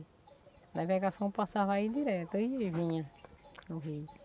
A navegação passava aí direto ia e vinha no rio.